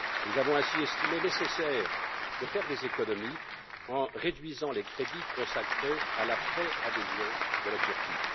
Nous avons ainsi estimé nécessaire de faire des économies en réduisant les crédits consacrés à la préadhésion de la Turquie.